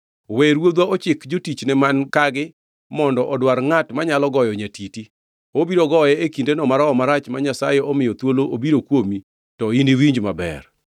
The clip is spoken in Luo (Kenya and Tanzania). We ruodhwa ochik jotichne man kagi mondo odwar ngʼat manyalo goyo nyatiti. Obiro goye e kindeno ma roho marach ma Nyasaye omiyo thuolo obiro kuomi to iniwinj maber.”